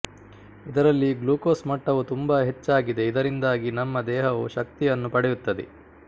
ಇದರಲ್ಲಿ ಗ್ಲೂಕೋಸ್ ಮಟ್ಟವು ತುಂಬಾ ಹೆಚ್ಚಾಗಿದೆ ಇದರಿಂದಾಗಿ ನಮ್ಮ ದೇಹವು ಶಕ್ತಿಯನ್ನು ಪಡೆಯುತ್ತದೆ